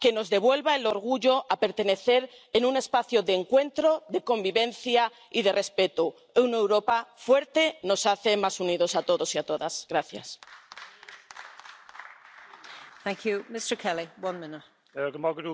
Y me preocupa la falta de un discurso para contrarrestarlo. Me preocupa más cuando las palabras no van acompañadas de los hechos, o cuando avanzamos a paso de tortuga.